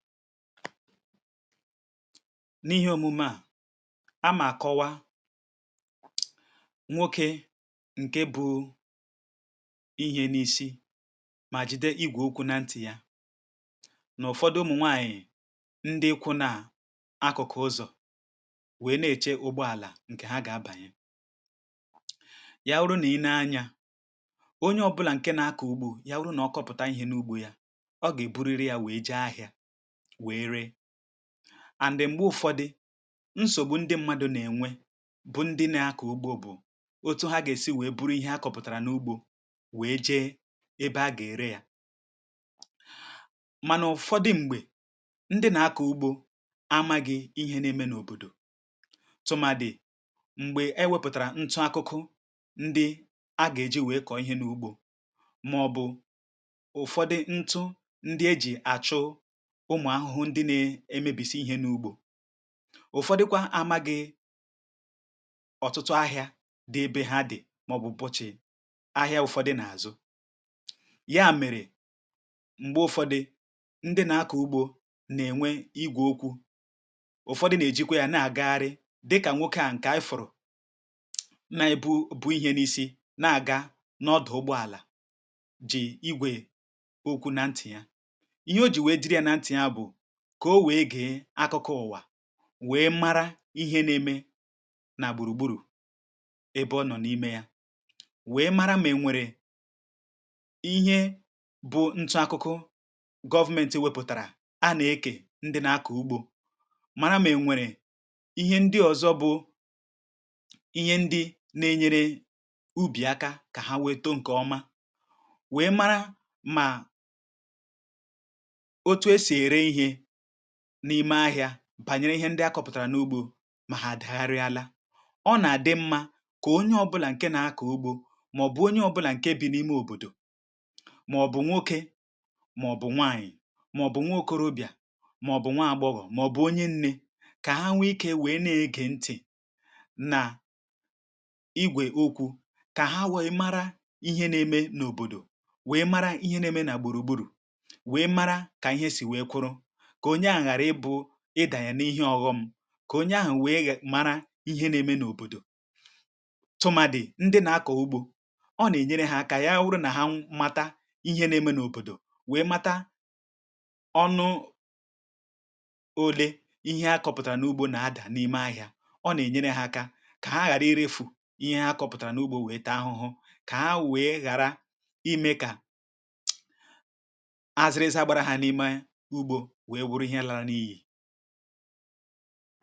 N’ihe òmume à, a mà kọwa nwokė ǹkè bụ ihe n’isi, mà jide igwò okwu̇ na ntị̀ yà, nà Ụ̀fọdụ ụmụ̀nwàànyị̀, ndị ikwu̇ na akụ̀kụ̀ ụzọ̀, nwèe, nà-èchè ụgbọàlà ǹkè hà gà-abànyè. Yà wụrụ nà ị nēe anyȧ, onye ọbụ̇là ǹkè nà-akọ̀ ugbȯ, yà wụrụ nà ọ kọpụ̀tà ihe n’ugbȯ yà; ọ gà-èburiri yȧ, wèe jee ahịȧ. M̀gbè Ụ̀fọdụ nsògbu ndị mmadụ̀ nà-ènwe bụ̀ ndị nà-akọ̀ ugbȯ, bụ̀ otu hà gà-èsi wèe buru ihe a kọ̇pụ̀tàrà n’ugbȯ, wèe jee ebe a gà-ère yȧ. um Mànà Ụ̀fọdụ m̀gbè, ndị nà-akọ̀ ugbȯ amaghị̇ ihe nà-ème n’òbòdò, tụmàdì̀ m̀gbè e wėpụ̀tàrà ntụ̀ akụkụ, ndị a gà-èji wèe kọ̀ọ ihe n’ugbȯ, màọ̀bụ̀ Ụ̀fọdụ ntụ̀ ndị e jì àchụ. Ǹkè à bụ̀ ihe à, ihe à nọ̀ n’áhụhụ, ndị nà-ėmėbìsi̇ ihe n’ugbȯ. Ụ̀fọdụkwa amagị̇ ọ̀tụtụ ahịȧ dị ebe hà dị̀, màọ̀bụ̀ bụ̀chị̀ ahịa. Ụ̀fọdị̀ nà-àzụ̀ yà. Mèrè m̀gbè Ụ̀fọdị̀ ndị nà-akọ̀ ugbȯ nà-ènwe igwè okwu̇, Ụ̀fọdụ nà-èjikwa yȧ, nà-àgagharị dịkà nwokė à ǹkè afọ̀rọ̀, nà-èbu bụ̀ ihe n’isi, nà-àga n’ọdụ̀ ụgbọàlà, jì igwè okwu̇ na ntị̀ yà, kà o wèe gà-e àkpàkọ ụ̀wà, wèe mara ihe n’ème nà gbùrùgbùrù, ebe ọ nọ̀ n’ime yà, wèe mara. Mà ẹ̀nwẹ̀rẹ̀ ihe bụ̇ ntụ̀ akụkụ government wēpụ̀tàrà — a nà-ekè, ndị nà-akọ̀ ugbȯ mara. Mà ẹ̀nwẹ̀rẹ̀ ihe ndị ọ̀zọ bụ̀ ihe ndị nà-ènyere ubì aka, kà hà wē too ǹkẹ̀ ọma. Wèe mara, mà n’ime ahị̇ȧ, bànyere ihe ndị a kọpụ̀tàrà n’ugbȯ; mà hà dị̀gharị àlà, ọ nà-àdị mmȧ. Kà onye ọbụlà ǹkè nà-akọ̀ ugbȯ, màọ̀bụ̀ onye ọbụlà ǹkè bị̀ n’ime òbòdò, um màọ̀bụ̀ nwokė, màọ̀bụ̀ nwàànyị̀, màọ̀bụ̀ nwàokȯròbìà, màọ̀bụ̀ nwààgbọghọ̀, màọ̀bụ̀ onye nni̇ — kà hà nwe ikė, wèe nà-èghe ntị̀ nà igwè okwu̇, kà hà wèe mara ihe nà-ème n’òbòdò, wèe mara ihe nà-ème nà gbùrùgbùrù, wèe mara kà ihe sì wèe kụrụ. Kà onye àhụ̀ ghàrà ịbụ̇ ịdà yà n’ihe ọ̀ghọm, kà onye àhụ̀ nweè mara ihe nà-ème n’òbòdò, tụmàdị̀ ndị nà-akọ̀ ugbȯ. Ọ nà-ènyere hà, kà yà bụrụ̀ nà hà màta ihe n’ème n’òbòdò, nweè màta ọnụ̇ ole ihe hà kọpụ̀tàrà n’ugbȯ nà-adà n’ime ahị̇ȧ. Ọ nà-ènyere hà aka, kà hà ghàrà irefù ihe hà kọpụ̀tàrà n’ugbȯ, nweè taa ahụhụ, um kà hà nweè ghàrà ime kà àzịrịzà gbara hà n’ime ugbȯ. Ǹgwá kwá áná.